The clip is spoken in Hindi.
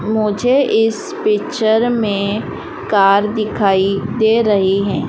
मुझे इस पिक्चर में कार दिखाई दे रही है।